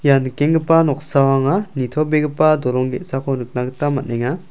ia nikenggipa noksao anga nitobegipa dolong ge·sako nikna gita man·enga.